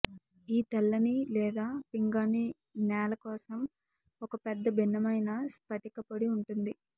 ఈ తెల్లని లేదా పింగాణీ నేల కోసం ఒక పెద్ద భిన్నమైన స్పటిక పొడి ఉంటుంది